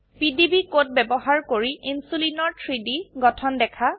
PDB code ব্যবহাৰ কৰি ইনসুলিনৰ 3ডি গঠন দেখা